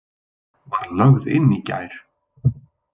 Var lögð inn í gær.